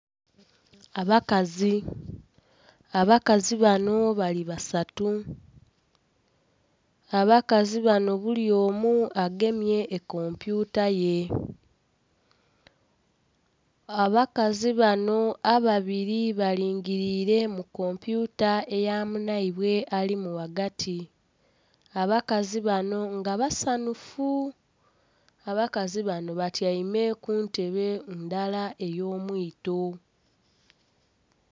Abakazi, abakazi banho bali basatu, abakazi banho buli omu agemye ekompyuta ye. Abakazi banho ababiri balingiliire mu kompyuta eya munhaibwe alimu ghagati, abakazi banho nga basanhufu abakazi banho batyaime ku ntebe ndala ey'omwito.